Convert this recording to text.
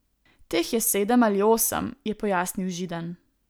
Teh je sedem ali osem, je pojasnil Židan.